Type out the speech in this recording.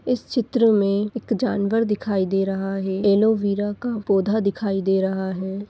इस चित्र में एक जानवर दिखाई दे रहा है एलोवेरा का पौधा दिखाई दे रहा है।